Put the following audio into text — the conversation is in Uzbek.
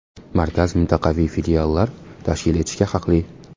Markaz mintaqaviy filiallar tashkil etishga haqli.